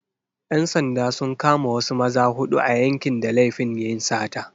‘Yan sanda sun kama wasu maza huɗu a yankin da laifin yin sata.